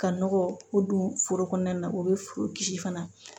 Ka nɔgɔ ko don foro kɔnɔna na o be foro kisi fana